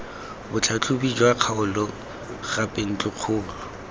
botlhatlhobi jwa kgaolo gape ntlokgolo